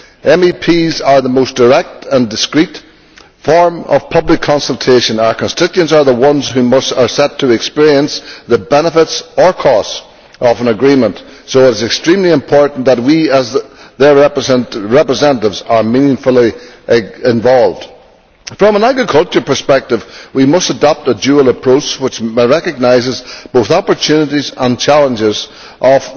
MEPs are the most direct and discreet form of public consultation, our constituents are the ones who are set to experience the benefits or costs of an agreement, so it is extremely important that we as their representatives are meaningfully involved. From an agricultural perspective we must adopt a dual approach which recognises both the opportunities and challenges of